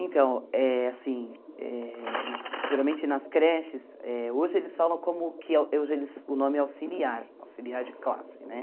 Então, eh assim, eh geralmente nas creches, eh hoje eles falam como que é o hoje eles nome é auxiliar, auxiliar de classe, né?